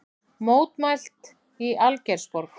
Mótmælt í Algeirsborg